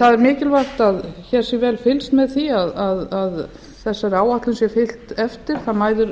það er mikilvægt að hér sé vel fylgst með því að þessari áætlun sé fylgt eftir það mæðir